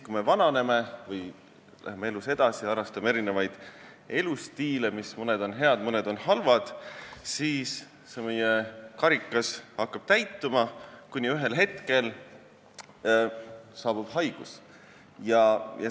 Kui me vananeme või läheme elus edasi, harrastades seejuures erinevaid elustiile, millest mõned on head ja mõned halvad, siis hakkab meie karikas täituma, kuni ühel hetkel saabub haigus.